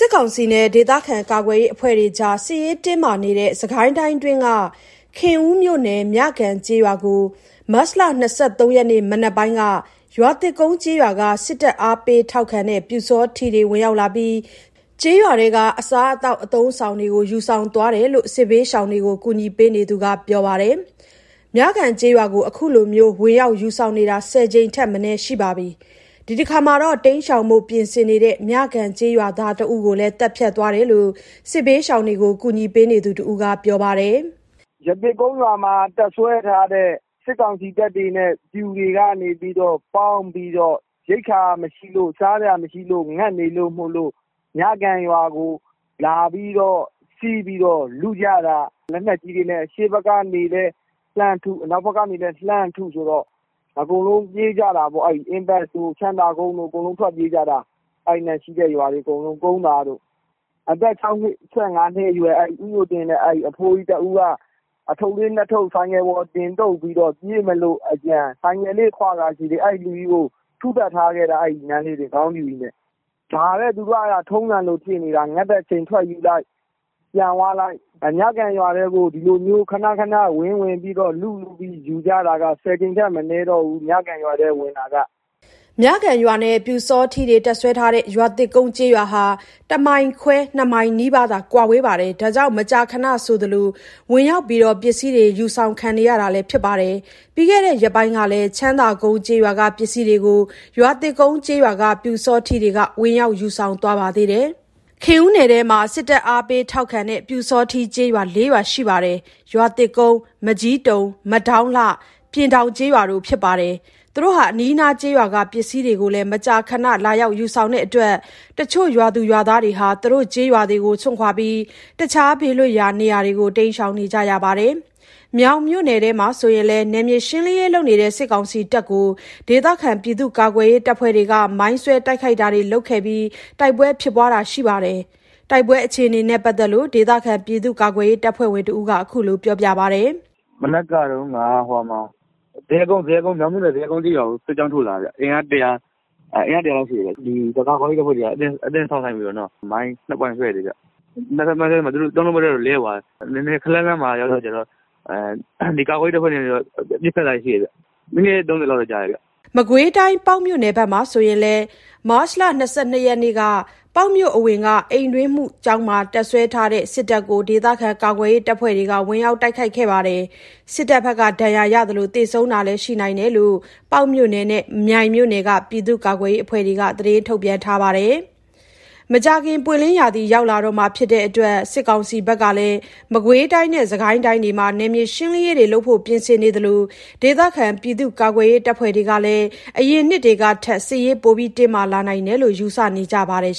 စ်ကောင်စီနဲ့ ဒေသခံကာကွယ်ရေးအဖွဲ့တွေအကြား စစ်ရေးတင်းမာနေတဲ့ စစ်ကိုင်းတိုင်းအတွင်းက ခင်ဦးမြို့နယ်၊ မြကန်ကျေးရွာကို မတ်လ ၂၃ ရက် ဒီကနေ့ မနက်ပိုင်းက ရွာသစ်ကုန်းကျေးရွာက စစ်တပ်အားပေးထောက်ခံတဲ့ ပျူစောထီးတွေဝင်ရောက်လာပြီး ကျေးရွာထဲက အစားအသောက် အသုံးအဆောင်တွေကို ယူဆောင်သွားတာလို့ စစ်ဘေးရှောင်တွေကို ကူညီပေးနေသူတွေက ပြောပါတယ်။ မြကန်ကျေးရွာကို အခုလို ဝင်ရောက်ယူဆောင်တာ ၁၀ ကြိမ်ထက်မနည်းရှိပြီး ဒီတခါမှာတော့ တိမ်းရှောင်ဖို့ ပြင်ဆင်နေတဲ့ မြကန်ကျေးရွာသားတဦးကိုလည်း သတ်ဖြတ်သွားတယ်လို့ စစ်ဘေးရှောင်တွေကို ကူညီပေးနေသူတဦးက အခုလို ပြောပါတယ်။ “ရွာသစ်ကုန်းရွာမှာ တပ်စွဲထားတဲ့ ပျူတွေနဲ့ စစ်ကောင်စီတပ်တွေနဲ့ ပေါင်းပြီးတော့ ရိက္ခာမရှိလို့၊ စားစရာမရှိလို့၊ ငတ်နေလို့မို့လို့၊ မြကန်ရွာကို လာပြီး စီးပြီး လုကြတာ။ လက်နက်ကြီးတွေနဲ့ အရှေ့ဘက်ကနေလည်း လှမ်းထု၊ အနောက်ဖက်ကနေလည်း လှမ်းထုဆိုတော့ အကုန်လုံး ပြေးကြတာပေါ့။ အင်းပတ်တို့ ချမ်းသာကုန်းတို့ အကုန်လုံး ထွက်ပြေးကြတာ။ အဲ့နားရှိတဲ့ရွာတွေအကုန်လုံး ကုန်းသာတို့။ အသက် ၆၅ နှစ်အရွယ် ဦးညိုတင့်တဲ့၊ အဖိုးကြီးတဦးက အထုပ်လေး ၂ ထုပ်ဆိုင်ကယ်ပေါ် တင်တုပ်ပြီးတော့ ပြေးမလို့အကြံ ဆိုင်ကယ်လေးခွကာရှိသေး အဲ့လူကြီးကို ထုသတ်ထားခဲ့တာ။ ခေါင်းဖြူကြီးနဲ့ ဒါပဲသူတို့က ထုံးစံလိုဖြစ်နေတာ။ ငတ်တဲ့အချိန်ထွက်ယူလိုက် ပြန်သွားလိုက်။ မြကန်ရွာထဲကို ဒီလိုခဏခဏ ဝင်ဝင်ပြီး လုလုပြီး ယူကြတာက ၁၀ ကြိမ်ထက်မနည်းတော့ဘူး မြကန်ရွာထဲကိုဝင်တာက။” မြကန်ရွာနဲ့ ပျူစောထီးတွေ တပ်စွဲထားတဲ့ ရွာသစ်ကုန်းကျေးရွာဟာ ၁မိုင်ခွဲ ၂ မိုင် နီးပါးသာ ကွာဝေးတဲ့အတွက် မကြာခဏဆိုသလို ဝင်ရောက်ပြီး ပစ္စည်းတွေ ယူဆောင်ခံနေရတာလည်း ဖြစ်ပါတယ်။ ပြီးခဲ့တဲ့ ရက်ပိုင်းကလည်း ချမ်းသာကုန်းကျေးရွာက ပစ္စည်းတွေကို ရွာသစ်ကုန်းကျေးရွာက ပျူစောထီးတွေက ဝင်ရောက်ယူ ဆောင်သွားပါသေးတယ်။ ခင်ဦးနယ်ထဲမှာ စစ်တပ် အားပေးထောက်ခံတဲ့ ပျူစောထီးကျေးရွာ ၄ ရွာရှိပြီး ရွာသစ်ကုန်း၊ မကျည်းတုံ၊ မဒေါင်းလှ၊ ပျဉ်ထောင်ကျေးရွာတို့ဖြစ်ပြီး အနီးနားက ကျေးရွာတွေက ပစ္စည်းတွေကို မကြာခဏ လာရောက် ယူဆောင်တဲ့အတွက် အချို့ရွာတွေဟာ သူတို့ကျေးရွာတွေကို စွန့်ခွါပြီး အခြား ဘေးလွတ်ရာ နေရာတွေကို တိမ်းရှောင်ရတာတွေလည်း ရှိပါတယ်။ မြောင်မြို့နယ်ထဲမှာဆိုရင်လည်း နယ်မြေရှင်းလင်းရေးလုပ်နေတဲ့ စစ်ကောင်စီတပ်ကို ဒေသခံကာကွယ်ရေး တပ်ဖွဲ့တွေက မိုင်းဆွဲ တိုက်ခိုက်တာတွေ လုပ်ခဲ့ပြီး တိုက်ပွဲဖြစ်ပွားတာတွေ ရှိခဲ့ပါတယ်။ တိုက်ပွဲအခြေအနေနဲ့ ပတ်သက်လို့ ဒေသခံကာကွယ်ရေး တပ်ဖွဲ့ဝင်တဦးက အခုလို ပြောပါတယ်။ “မနက်က မြောင်မြို့နယ် ဇရပ်ကုန်းကျေးရွာကို စစ်ကြောင်းထိုးလာတာခင်ဗျ။ အင်အား ၁၀၀ လောက်ရှိတယ်။ ကာကွယ်ရေးအဖွဲ့တွေက အသင့်စောင့်ဆိုင်းပြီးတော့ မိုင်း ၂ ပွိုင့်ဆွဲလိုက်တယ်။ သူတို့ တုံးလုံးပက်လက် လဲသွားတယ်။ ခပ်လှမ်းလှမ်းမှာကျတော့ ကာကွယ်ရေးတပ်ဖွဲ့တွေက ပစ်ခတ်တာတွေရှိတယ်။ မိနစ် ၃၀ လောက်တော့ ကြာတယ်။” မကွေးတိုင်း၊ ပေါက်မြို့နယ်မှာဆိုရင်လည်း မတ်လ ၂၂ ရက်က ပေါက်မြို့အဝင်က အိမ်တွင်းမှုကျောင်းမှာ တပ်စွဲထားတဲ့ စစ်တပ်ကို ဒေသခံကာကွယ်ရေးအဖွဲ့တွေက ဝင်ရောက်တိုက်ခိုက်တာတွေ လုပ်ခဲ့ပြီး စစ်တပ်ဘက်က ဒဏ်ရာရရှိခဲ့သလို သေဆုံးတာတွေ ရှိနိုင်တယ်လို့ ပေါက်မြို့နယ်နဲ့ မြိုင်မြို့နယ်က ပြည်သူ့ကာကွယ်ရေးအဖွဲ့တွေက သတင်းထုတ်ပြန်ထားပါတယ်။ မကြာခင် ပွင့်လင်းရာသီ ရောက်လာတော့မှာဖြစ်တဲ့အတွက် စစ်ကောင်စီဘက်ကလည်း စစ်ကိုင်းတိုင်းနဲ့ မကွေးတိုင်းတို့မှာ နယ်မြေရှင်းလင်းရေးတွေ လုပ်ဖို့ ပြင်ဆင်နေသလို ဒေသခံကာကွယ်ရေးတပ်ဖွဲ့တွေကလည်း အရင်နှစ်တွေကထက် စစ်ရေး တင်းမာလာနိုင်တယ်လို့ ယူဆနေပါတယ်